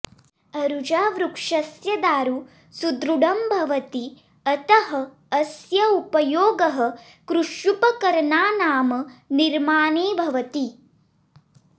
अरुजावृक्षस्य दारु सुदृढं भवति अतः अस्य उपयोगः कृष्युपकरणानां निर्माणे भवति